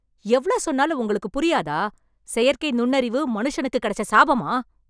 எவ்ளோ சொன்னாலும் உங்களுக்கு புரியாதா! செயற்கை நுண்ணறிவு மனுஷனுக்குக் கிடைச்ச சாபமா ?